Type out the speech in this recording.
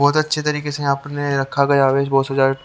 बहुत अच्छे तरीके से आपने रखा गया --